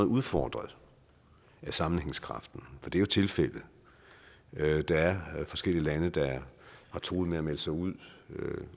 udfordret på sammenhængskraften det er jo tilfældet at der er forskellige lande der har truet med at melde sig ud